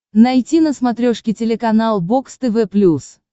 найти на смотрешке телеканал бокс тв плюс